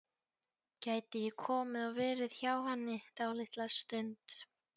Gæti ég komið og verið hjá henni dálitla stund?